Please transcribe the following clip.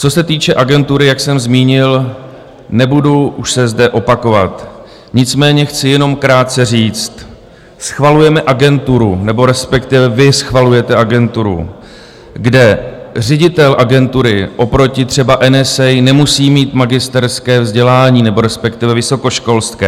Co se týče agentury, jak jsem zmínil, nebudu už se zde opakovat, nicméně chci jenom krátce říct: schvalujeme agenturu, nebo respektive vy schvalujete agenturu, kde ředitel agentury oproti třeba NSA nemusí mít magisterské vzdělání nebo respektive vysokoškolské.